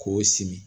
K'o sin